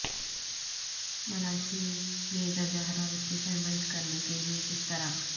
ملاشی میں درجہ حرارت کی پیمائش کرنے کے لئے کس طرح